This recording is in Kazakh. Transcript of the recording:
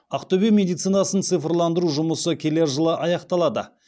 ақтөбе медицинасын цифрландыру жұмысы келер жылы аяқталады